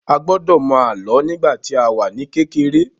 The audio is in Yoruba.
A gbọ́dọ̀ mọ àlọ́ nígbà tí a wà ní kékeré.